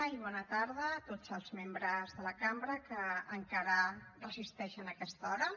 i bona tarda a tots els membres de la cambra que encara resisteixen a aquesta hora